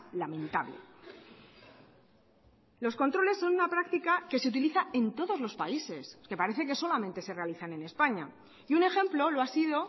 lamentable los controles son una práctica que se utiliza en todos los países que parece que solamente se realizan en españa y un ejemplo lo ha sido